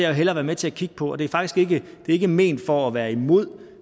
jo hellere være med til at kigge på og det er faktisk ikke ikke ment for at være imod